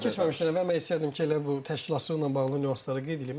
Oyunlara keçməmişdən əvvəl mən istəyərdim ki, elə bu təşkilatçılıqla bağlı nüansları qeyd eləyim.